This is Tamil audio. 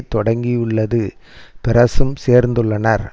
தொடக்கியுள்ளது பெரஸும் சேர்ந்துள்ளனர்